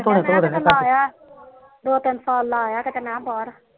ਦੋ ਤਿੰਨ ਸਾਲ ਲਾਇਆ ਮੈ ਕਿਤੇ ਬਾਹਰ